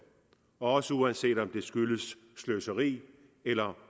også uanset om det skyldes sløseri eller